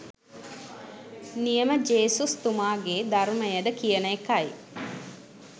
නියම ජේසුස් තුමාගේ ධර්මයද කියන එකයි.